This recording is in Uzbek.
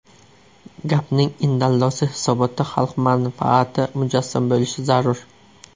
Gapning indallosi, hisobotda xalq manfaati mujassam bo‘lishi zarur.